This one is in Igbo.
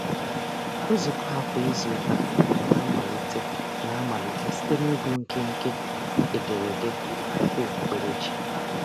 Nzukọ ha kwa izuụka na-amalite na-amalite site n'ịgụ nkenke ederede n'akwụkwọ okpukperechi.